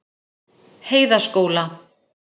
Heiðaskóla